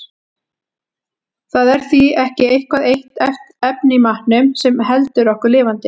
Það er því ekki eitthvað eitt efni í matnum sem heldur okkur lifandi.